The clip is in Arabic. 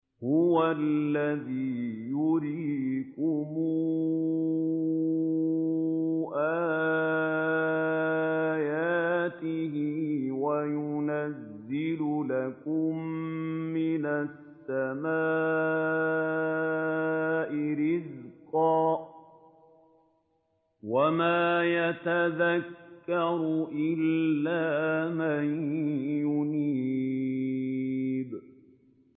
هُوَ الَّذِي يُرِيكُمْ آيَاتِهِ وَيُنَزِّلُ لَكُم مِّنَ السَّمَاءِ رِزْقًا ۚ وَمَا يَتَذَكَّرُ إِلَّا مَن يُنِيبُ